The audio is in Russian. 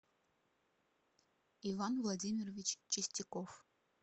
иван владимирович чистяков